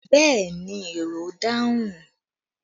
Yes, the passenger answered